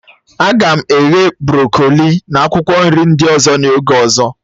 A ga m eghe brọkoli na akwụkwọ nri ndị ọzọ n'oge ọzọ